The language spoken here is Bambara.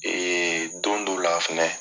don dɔ la fɛnɛ